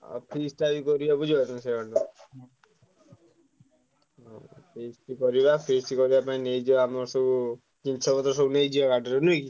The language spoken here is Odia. ଆଉ feast ଟା ବି କରିବା ବୁଝିପାରୁଛ ଆଉ feast କରିବା feast କରିବା ପାଇଁ ନେଇଯିବା ଆମର ସବୁ ଜିନିଷ ପତ୍ର ସବୁ ନେଇଯିବା ଗାଡିରେ ନୁହେଁ କି?